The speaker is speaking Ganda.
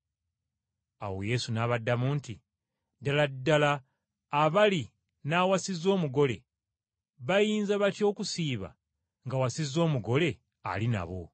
Awo Yesu n’abaddamu nti, “Ddala ddala abali n’awasiza omugole bayinza batya okusiiba, ng’awasizza omugole ali nabo?